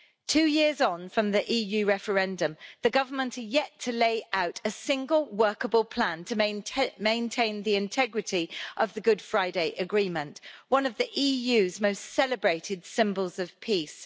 Two years on from the EU referendum, the government are yet to lay out a single workable plan to maintain the integrity of the Good Friday Agreement, one of the EU's most celebrated symbols of peace.